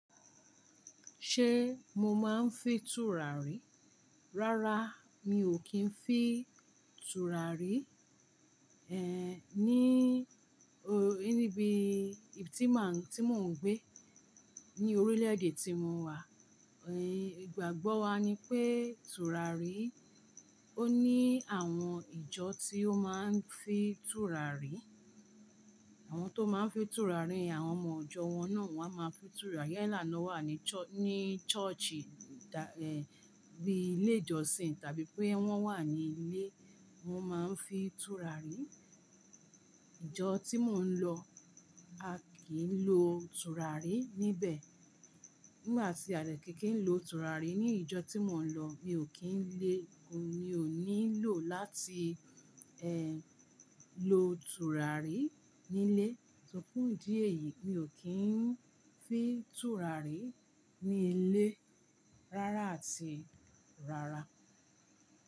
Ṣé mo máa ń fi tùràrí? Rárá, mi ò kí ń fi tùràrí. Ehn, ní, o, níbi tí màá, tí mò ń gbé, ní orílẹ̀ èdè tí mò wà, e, ìgbàgbọ́ wa ni pé tùràrí, ó ní àwọn ìjọ tí ó máa ń fi tùràrí. Àwọn tó máa ń fi tùràrí, àwọn ọmọ ìjọ wọn náà won á máa fi tùràrí. Yálà náà wà ní ch- ní churchi, dà, ehn, bíi ilé ìjọsìn tàbí pé wọ́n wà ní ilé, wọn máa ń fi tùràrí. Ìjọ tí mò ń lọ, a kì í lo tùràrí níbẹ̀. Nígbà tí a dè kì ki n lo tùràrí ní ìjọ tí mò ń lọ, mi ò kí ń lé, mi ò nílò láti, ehn, lo tùràrí nílé. Fun fun idí èyií, mi ò kí ń fi tùràrí ní ilé rárá àti rárá.